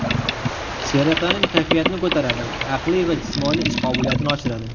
Serotonin kayfiyatni ko‘taradi, aqliy va jismoniy ish qobiliyatini oshiradi.